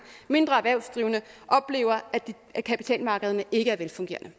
mindre erhvervsdrivende oplever at kapitalmarkederne ikke er velfungerende